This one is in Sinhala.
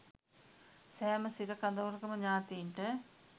සෑම සිර කඳවුරකම ඥාතීන්ට